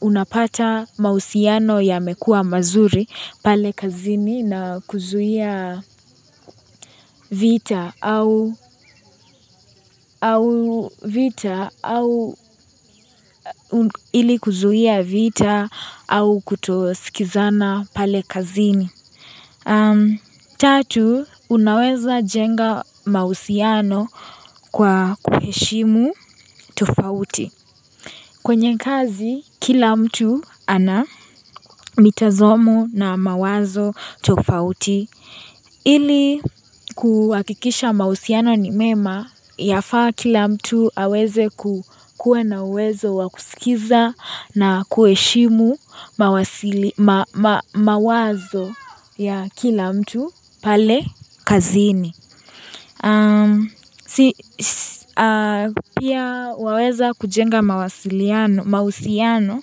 unapata mahusiano yamekua mazuri pale kazini na kuzuia vita, au vita, au ili kuzuia vita, au kutosikizana pale kazini. Tatu, unaweza jenga mausiano kwa kuheshimu tofauti. Kwenye kazi, kila mtu ana mitazamo na mawazo tofauti. Ili kuhakikisha mausiano ni mema yafaa kila mtu aweze kukua na uwezo wakusikiza na kuheshimu mawasili mawazo ya kila mtu pale kazini. Pia waweza kujengamawasiliano mausiano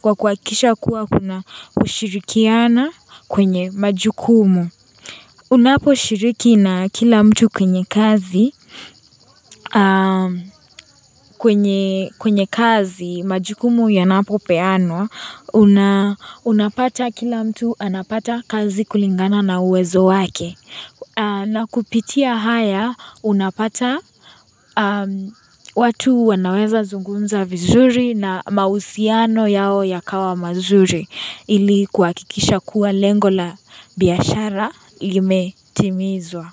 kwa kuhakikisha kuwa kuna kushirikiana kwenye majukumu. Unapo shiriki na kila mtu kwenye kazi, kwenye kazi majukumu yanapo peano, unapata kila mtu anapata kazi kulingana na uwezo wake. Na kupitia haya, unapata watu wanaweza zungumza vizuri na mausiano yao ya kawa mazuri ili kuhakikisha kuwa lengo la biashara lime timizwa.